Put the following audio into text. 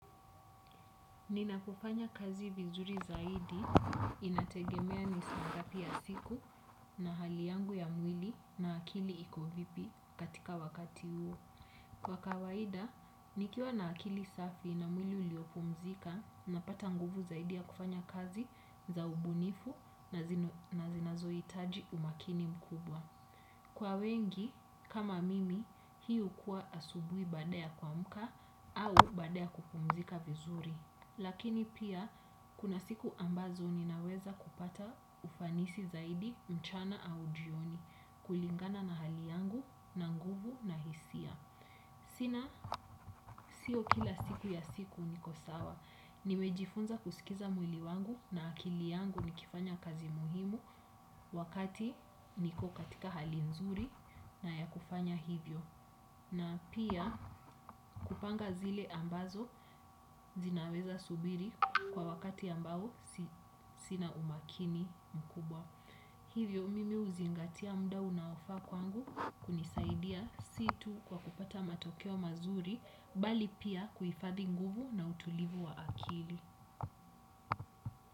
Ninapofanya kazi vizuri zaidi, inategemea ni saa ngapi ya siku na hali yangu ya mwili na akili iko vipi katika wakati huo. Kwa kawaida, nikiwa na akili safi na mwili uliopumzika, napata nguvu zaidi ya kufanya kazi za ubunifu na zinazo hitaji umakini mkubwa. Kwa wengi kama mimi hii hukuwa asubuhi baada ya kuamka au baada ya kupumzika vizuri lakini pia kuna siku ambazo ninaweza kupata ufanisi zaidi mchana au jioni kulingana na hali yangu na nguvu na hisia. Sina, sio kila siku ya siku niko sawa. Nimejifunza kusikiza mwili wangu na akili yangu nikifanya kazi muhimu wakati niko katika hali nzuri na ya kufanya hivyo. Na pia kupanga zile ambazo zinaweza subiri kwa wakati ambao sina umakini mkubwa. Hivyo mimi huzingatia mda unaofaa kwangu kunisaidia si tu kwa kupata matokeo mazuri bali pia kuhifadhi nguvu na utulivu wa akili.